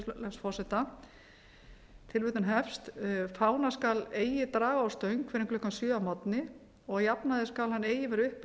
þá grein með leyfi virðulegs forseta fána skal eigi draga á stöng fyrr en klukkan sjö að morgni og að jafnaði skal hann eigi vera